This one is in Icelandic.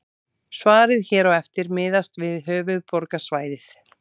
Svarið hér á eftir miðast við höfuðborgarsvæðið.